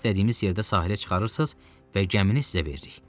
Bizi istədiyimiz yerdə sahilə çıxarırsınız və gəmini sizə veririk.